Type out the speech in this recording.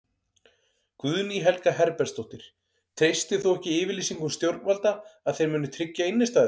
Guðný Helga Herbertsdóttir: Treystir þú ekki yfirlýsingum stjórnvalda að þeir muni tryggja innistæður?